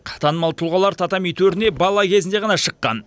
танымал тұлғалар татами төріне бала кезінде ғана шыққан